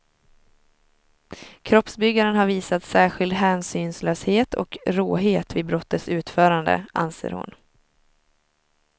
Kroppsbyggaren har visat särskild hänsynslöshet och råhet vid brottets utförande, anser hon.